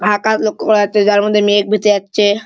আকাশ লক্ষ্য করা যাচ্ছে যার মধ্যে মেঘ ভেসে যাচ্ছে।